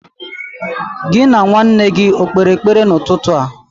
Gị na nwa nna gị o kpere ekpere n'ụtụtụ a?